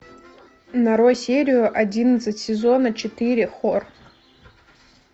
нарой серию одиннадцать сезона четыре хор